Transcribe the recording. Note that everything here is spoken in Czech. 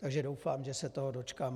Takže doufám, že se toho dočkám.